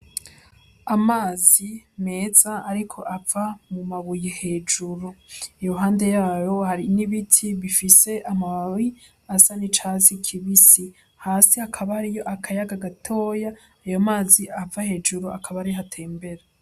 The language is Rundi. Amazi meza ariko ava mu mabuye hejuru iruhande yayo hari n'ibiti bifise amababi asa nicatsi kibisi hasi hakaba hariyo akayaga gatoya ayo mazi ava hejuru akaba ariho atembera.